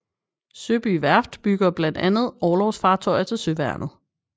Søby Værft bygger blandt andet orlogsfartøjer til Søværnet